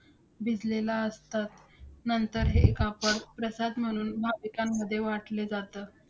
भिजलेलं असतं. नंतर हे कापड, प्रसाद म्हणून भाविकांमध्ये वाटले जातं.